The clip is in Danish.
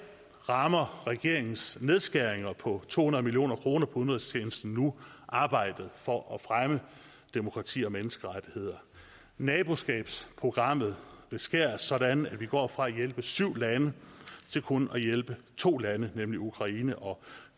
rammer regeringens nedskæringer på to hundrede million kroner på udenrigstjenesten nu arbejdet for at fremme demokrati og menneskerettigheder naboskabsprogrammet beskæres sådan at vi går fra at hjælpe syv lande til kun at hjælpe to lande nemlig ukraine og